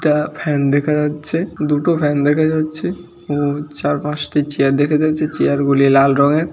এটা ফ্যান দেখা যাচ্ছে দুটো ফ্যান দেখা যাচ্ছে এবং চার পাঁচটি চেয়ার দেখা যাচ্ছে চেয়ার গুলি লাল রঙের।